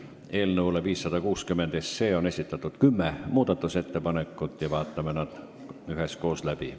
Eelnõu 560 kohta on esitatud kümme muudatusettepanekut ja vaatame need üheskoos läbi.